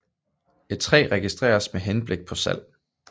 Et træ registreres med henblik på salg